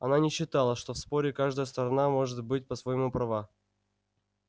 она не считала что в споре каждая сторона может быть по-своему права